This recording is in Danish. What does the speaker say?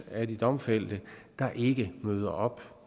af de domfældte der ikke møder op